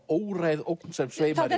óræð ógn sem sveimar